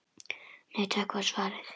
Nei takk var svarið.